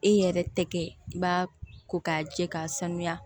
E yɛrɛ tɛ kɛ i b'a ko k'a jɛ k'a sanuya